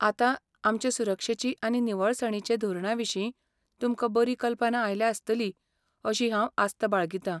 आतां आमचे सुरक्षेचे आनी निवळसाणींचे धोरणाविशीं तुमकां बरी कल्पना आयल्या आसतली अशी हांव आस्त बाळगितां.